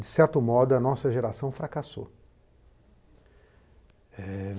De certo modo, a nossa geração fracassou.